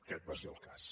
aquest va ser el cas